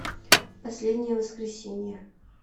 последнее воскресенье